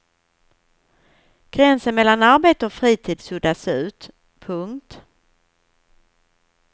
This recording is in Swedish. Gränsen mellan arbete och fritid suddas ut. punkt